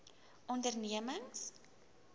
ondernemings